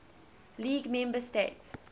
league member states